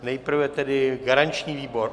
Nejprve tedy garanční výbor.